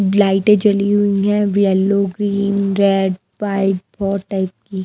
लाइटें जली हुई है येलो ग्रीन रेड वाइट बहुत टाइप की हैं।